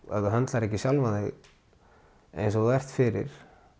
ef þú höndlar ekki sjálfan þig eins og þú ert fyrir